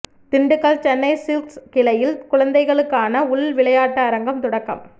Dindigul Chennai Silks கிளையில் குழந்தைகளுக்கான உள் விளையாட்டு அரங்கம் தொடக்கம்